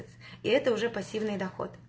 и это уже пассивный доход